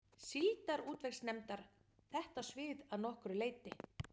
Síldarútvegsnefndar, þetta svið að nokkru leyti.